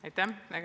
Aitäh!